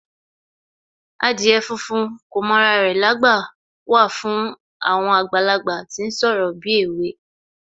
Adìyẹ funfun kò mọ ra rẹ̀lágbà wà fún àwọn àgbàlagbà tí ń ṣorò bíèwe